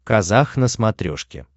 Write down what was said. казах на смотрешке